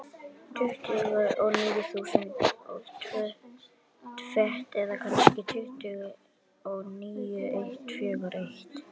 Tuttugu og níu þúsund og tvö fet, eða kannski tuttugu og níu eitt fjögur eitt.